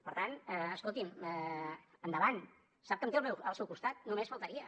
per tant escolti’m endavant sap que em té al seu costat només faltaria